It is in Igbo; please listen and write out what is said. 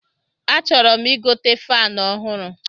A chọrọ m igote fanu ọhụrụ